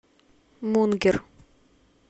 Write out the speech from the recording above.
мунгер